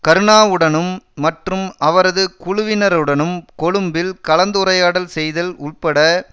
கருணாவுடனும் மற்றும் அவரது குழுவினருடனும் கொழும்பில் கலந்துரையாடல் செய்தல் உட்பட